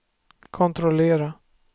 kontrollera